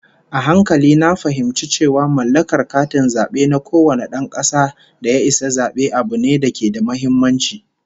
A hankali na fahimci cewa mallakar katin zabe na kowane dan kasa da ya isa zabe, abu ne da ke da muhimmanci